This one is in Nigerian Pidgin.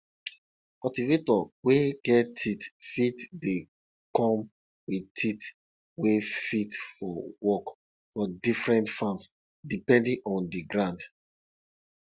cultivator wey get teeth fit dey come with teeth wey fit for work for different farms depending on di ground